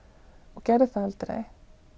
og gerði það aldrei